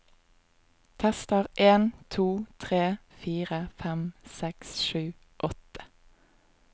Tester en to tre fire fem seks sju åtte